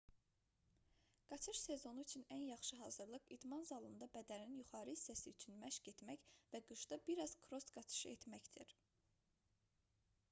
qaçış sezonu üçün ən yaxşı hazırlıq idman zalında bədənin yuxarı hissəsi üçün məşq etmək və qışda bir az kross qaçışı etməkdir